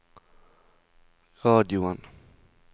radioen